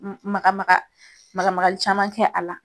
Maka maka, maka makali caman kɛ a la.